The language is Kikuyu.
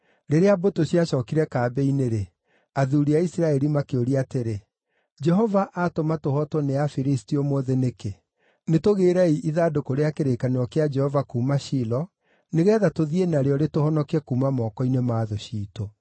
Rĩrĩa mbũtũ ciacookire kambĩ-inĩ-rĩ, athuuri a Isiraeli makĩũria atĩrĩ, “Jehova atũma tũhootwo nĩ Afilisti ũmũthĩ nĩkĩ? Nĩ tũgĩĩrei ithandũkũ rĩa kĩrĩkanĩro kĩa Jehova kuuma Shilo, nĩgeetha tũthiĩ narĩo rĩtũhonokie kuuma moko-inĩ ma thũ ciitũ.”